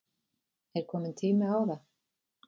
Er kominn tími á það?